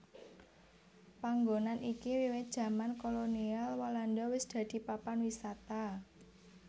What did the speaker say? Panggonan iki wiwit jaman kolonial Walanda wis dadi papan wisata